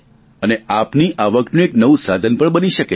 અને આપની આવકનું એક નવું સાધન પણ બની શકે છે